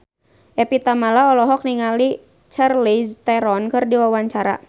Evie Tamala olohok ningali Charlize Theron keur diwawancara